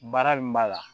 Baara min b'a la